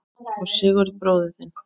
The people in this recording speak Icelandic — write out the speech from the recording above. Og Sigurð bróður þinn!